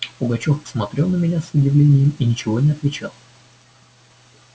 пугачёв посмотрел на меня с удивлением и ничего не отвечал